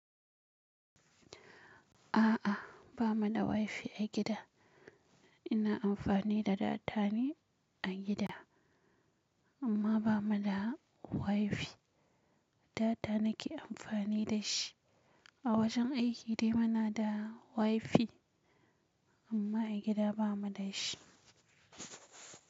A'a, ba mu da WiFi a gida. Ina amfani da data ne a gida amma ba mu da WiFi. Data nake amfani da shi. A wajen aiki dai muna da WiFi amma a gida ba mu da shi.